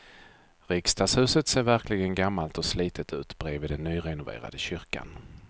Riksdagshuset ser verkligen gammalt och slitet ut bredvid den nyrenoverade kyrkan.